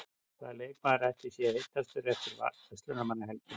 Hvaða leikmaður ætli sé heitastur eftir Verslunarmannahelgina?